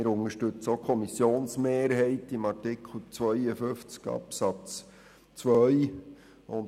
Wir unterstützen auch die Kommissionsmehrheit, was den Artikel 52 Absatz 2 betrifft.